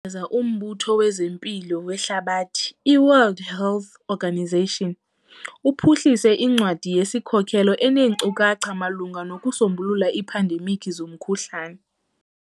za, uMbutho wezeMpilo weHlabathi, iWorld Health Organisation, uphuhlise incwadi yesikhokelo eneenkcukacha malunga nokusombulula iiphandemikhi zomkhuhlane.